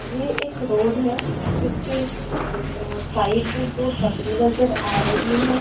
ये एक रोड है जिसके आ साइड में दो टपरी नज़र आ रही है।